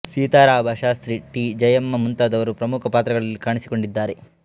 Seetharama Shastri T Jayamma ಮುಂತದವರು ಪ್ರಮುಖ ಪಾತ್ರಗಳಲ್ಲಿ ಕಾಣಿಸಿಕೊಂಡಿದ್ದಾರೆ